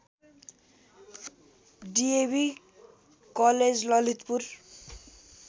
DAV college Lalitpur